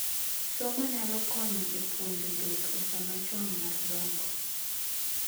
Somo nyalo konyo e puonjo dhok e sama chon mar dongo.